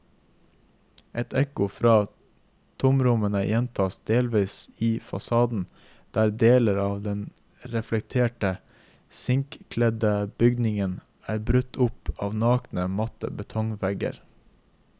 Et ekko fra tomrommene gjentas delvis i fasaden, der deler av den reflekterende sinkkledde bygningen er brutt opp av nakne, matte betongvegger.